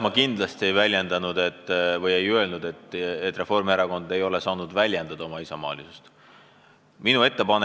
Ma kindlasti ei öelnud, et Reformierakond ei ole saanud oma isamaalisust väljendada.